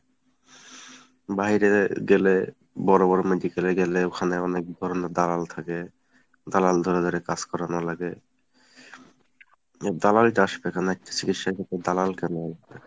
বাহিরে গেলে বড়ো বড়ো medical এ গেলে ওখানে অনেকধরণের দালাল থাকে, দালাল ধরে ধরে কাজ করানো লাগে এই দালালটা আসবে কেন একটা চিকিৎসা ক্ষেত্রে দালাল কেন আসবে ?